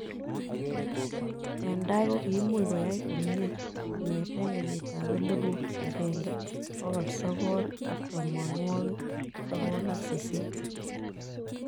Eng tai ko kiimuch koyai komie kong'etee kenyitab elebut agenge, bokol sokol ak tamanwokik sokol ak sisit